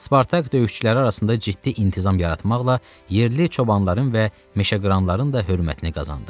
Spartak döyüşçüləri arasında ciddi intizam yaratmaqla yerli çobanların və meşəqıranların da hörmətini qazandı.